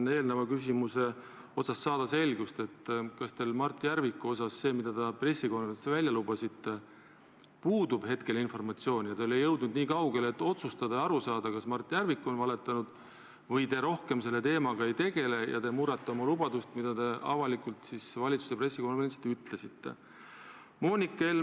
Aga eelmise küsimusega seoses tahaksin ma saada selgust järgmises asjas: kas teil hetkel puudub Mart Järviku kohta informatsioon, mille te pressikonverentsil lubasite välja selgitada, ja te ei ole jõudnud nii kaugele, et otsustada ja aru saada, kas Mart Järvik on valetanud, või te selle teemaga rohkem ei tegele ja murrate oma lubadust, mille te valitsuse pressikonverentsil avalikult andsite?